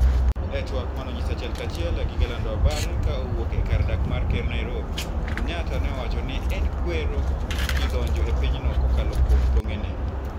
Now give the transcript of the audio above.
e twak maneonyis achiel ka achiel e gige lando habari ka owuok e kar dak mar ker Nairobi, Kenyatta ne owacho ni en kwero ji donjo e pinyno kokalo kuom tong'e ne